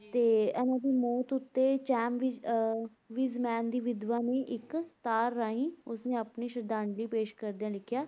ਤੇ ਇਹਨਾਂ ਦੀ ਮੌਤ ਉੱਤੇ ਚੈਮ ਵਿਜ਼~ ਅਹ ਵਿਜ਼ਮੈਨ ਦੀ ਵਿਧਵਾ ਨੇ ਇੱਕ ਤਾਰ ਰਾਹੀਂ ਉਸ ਨੇ ਆਪਣੀ ਸ਼ਰਧਾਂਜਲੀ ਪੇਸ਼ ਕਰਦਿਆਂ ਲਿਖਿਆ